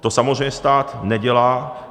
To samozřejmě stát nedělá.